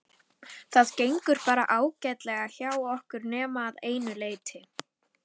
Það gengur bara ágætlega hjá okkur nema að einu leyti.